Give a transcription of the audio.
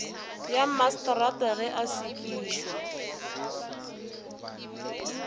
ya magistrata ge go sekišwa